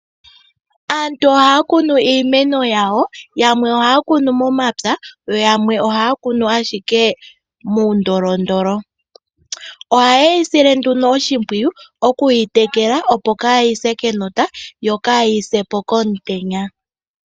Aantu ohaa kunu iimeno yawo, yamwe ohaya kunu momapya yo yamwe ohaa kunu ashike muundolondolo. Ohaye yi sile nduno oshimpwiyu okuyi tekela opo kaayi se kenota yo kaayi se po komutenya.